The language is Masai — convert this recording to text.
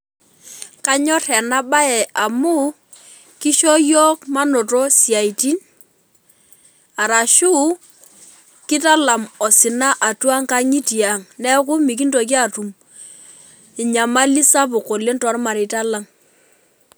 Kanyor enabae amu kisho yiok manoto siatini arashu kitalam osina atua nkangitie aang, neaku mikintoki atum inyamali sapuk oleng tormareita lang.